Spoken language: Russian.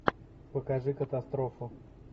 покажи катастрофу